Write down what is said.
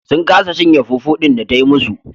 Sun kasa cinye fufu din da ta yi musu.